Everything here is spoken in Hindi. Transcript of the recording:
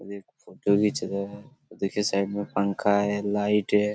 और एक फोटो खीच रहा है और देखिए साइड में पंखा है लाइट है।